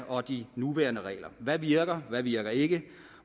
og de nuværende regler hvad virker hvad virker ikke